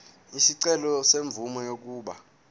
isicelo semvume yokuba